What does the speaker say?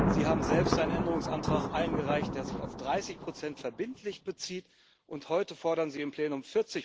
Sie haben selbst einen Änderungsantrag eingereicht, der sich auf 30 verbindlich bezieht, und heute fordern Sie im Plenum